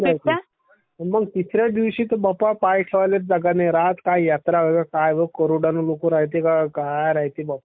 Sound overlapping मंग तिसऱ्या दिवशी तर बाप्पा पाय ठेवाल्ये जागा नसते...करोडो नी लोकं राह्यत्ये...काय राह्यत्ये